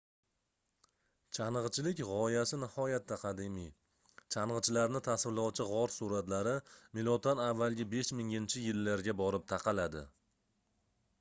changʻichilik gʻoyasi nihoyatda qadimiy changʻichilarni tasvirlovchi gʻor suratlari m.a. 5000-yillarga borib taqaladi